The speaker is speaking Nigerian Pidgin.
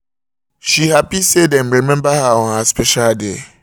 she happy say dem remember her on her special day